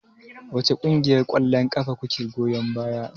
Wace ƙungiyar ƙwallon ƙafa kuke goyon baya?